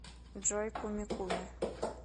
джой куми куми